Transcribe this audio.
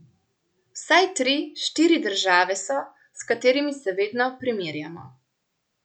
Vsaj tri, štiri države so, s katerimi se vedno primerjamo.